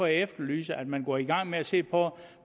jeg efterlyser at man går i gang med at se på